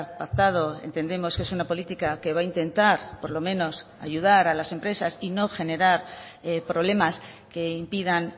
pactado entendemos que es una política que va a intentar por lo menos ayudar a las empresas y no generar problemas que impidan